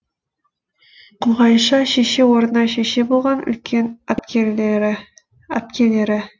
күлғайша шеше орнына шеше болған үлкен әпкелері